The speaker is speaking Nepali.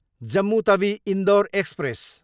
जम्मू तवी, इन्डोर एक्सप्रेस